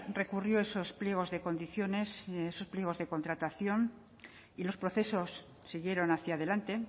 recurrió esos pliegos de condiciones esos pliegos de contratación y los procesos siguieron hacia delante